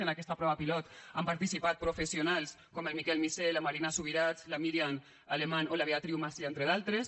en aquesta prova pilot han participat professionals com el miquel missé la marina subirats la miriam alemán o la beatriu macià entre d’altres